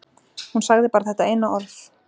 Hún sagði bara þetta eina orð.